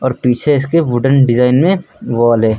और पीछे इसके वुडन डिजाइन में वॉल है।